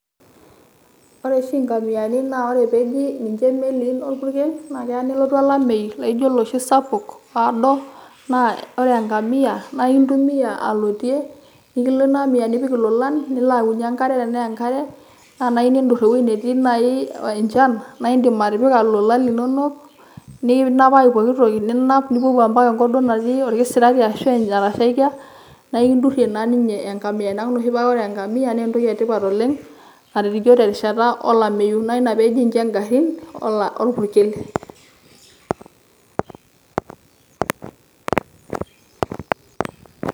Ore oshi inkamiani na ore peji ninche meliin orpukel, na kea nelotu olameyu laijo oloshi sapuk oodo, na ore enkamia, na intumia aloitie, nikilo inaamia nipik ilolan, nilo aunyie enkare tenaa enkare. Na enaiyieu niidur ewuei netii nai enchan, naidim atipika ilolan linonok, nikinapaki pooki toki. Nepuopuo mpaka enkop duo atii orkisirati ashu netashaikia, neeku ekidurrie naa ninye enkamia. Naku ore oshi pa ore enkamia naa entoki etipat oleng' nkatitin nijo terishata olameyu. Na ina peeji nche garrin orpukel.